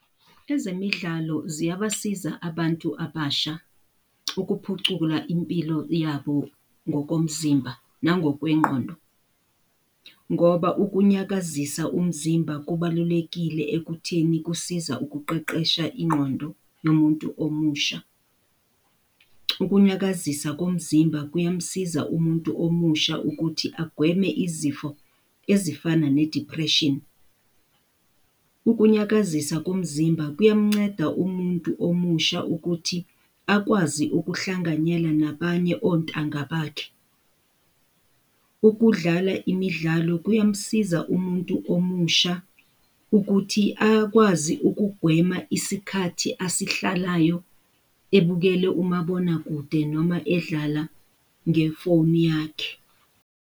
Ezemidlalo ziyabasiza abantu abasha ukuphucuka impilo yabo ngokomzimba nangokwengqondo, ngoba ukunyakazisa umzimba kubalulekile ekutheni kusiza ukuqeqesha ingqondo womuntu omusha. Ukunyakazisa komzimba kuyamsiza umuntu omusha ukuthi agweme izifo ezifana ne-depression. Ukunyakazisa komzimba kuyamnceda umuntu omusha ukuthi akwazi ukuhlanganyela nabanye ontanga bakhe. Ukudlala imidlalo kuyamsiza umuntu omusha ukuthi akwazi ukugwema isikhathi asihlalayo ebukele umabonakude noma edlala ngefoni yakhe.